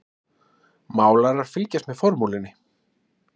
Málarar fylgjast með formúlunni